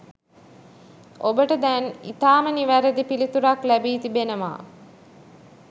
ඔබට දැන් ඉතාම නිවැරැදි පිළිතුරක් ලැබී තිබෙනවා.